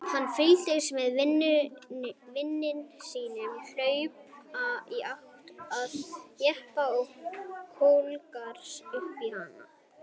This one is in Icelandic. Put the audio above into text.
Hann fylgdist með vini sínum hlaupa í átt að jeppanum og klöngrast upp í hann.